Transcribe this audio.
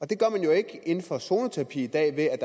det gør man jo ikke inden for zoneterapi i dag ved at